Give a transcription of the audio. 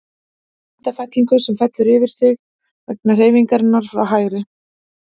Mynd af fellingu, sem fellur yfir sig vegna hreyfingar frá hægri.